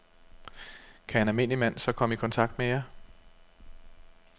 Kan en almindelig mand så komme i kontakt med jer?